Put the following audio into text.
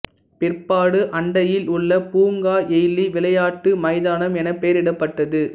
பிற்பாடு அண்டையில் உள்ள பூங்கா எய்லி விளையாட்டு மைதானம் என பெயரிடப்பட்டது